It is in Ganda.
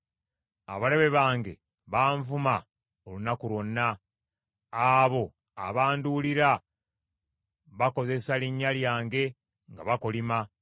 Abalabe bange banvuma olunaku lwonna; abo abanduulira bakozesa linnya lyange nga bakolima.